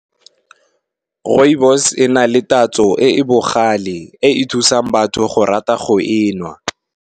Rooibos e na le tatso e e bogale e e thusang batho go rata go e nwa.